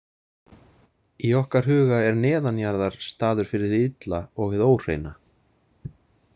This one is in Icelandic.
Í okkar huga er neðanjarðar staður fyrir hið illa og hið óhreina.